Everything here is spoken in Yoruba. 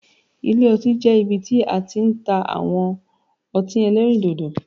Ilé ọtí jẹ́ ibi tí a ti n ta àwọn otín elérìndòdò